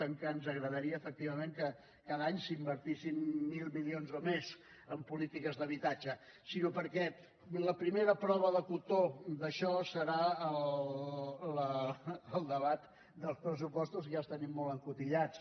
ens agradaria efectivament que cada any s’invertissin mil milions o més en polítiques d’habitatge sinó perquè la primera prova del cotó d’això serà el debat dels pressupostos i ja els tenim molt encotillats